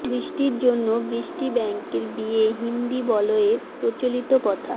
বৃষ্টির জন্য বৃষ্টি ব্যাঙের বিয়ে হিন্দি বলয়ে প্রচলিত প্রথা